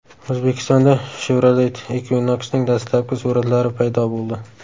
O‘zbekistonda Chevrolet Equinox’ning dastlabki suratlari paydo bo‘ldi .